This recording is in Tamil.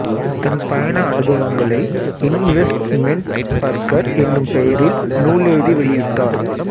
தம் பயண அனுபவங்களை இன்வெஸ்ட்மென்ட் பர்கர் என்னும் பெயரில் நூலெழுதி வெளியிட்டார்